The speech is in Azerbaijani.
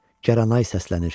Cəranay səslənir.